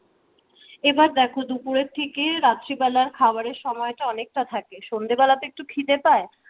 এবার দেখো দুপুর থেকে রাত্রিবেলার খাবারের সময়টা অনেক টা থাকে। সন্ধ্যেবেলা তো একটু খিদে পায়।